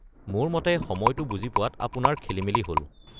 মোৰ মতে সময়টো বুজি পোৱাত আপোনাৰ খেলিমেলি হ’ল।